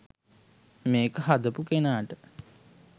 මේක හදපු කෙනාට